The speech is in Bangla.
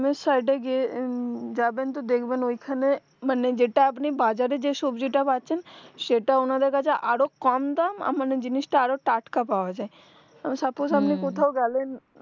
অন্য side এ গিয়ে যাবেন তো দেখবেন ওই খানে মানে যেটা আপনি বাজারে যেই সব্জিটা পাচ্ছেন সেটা ওনাদের কাছে আরো কম দাম এ মানে জিনিসটা আরো টাটকা পাওয়া যায় suppose আপনি কোথাও গেলেন গেলেন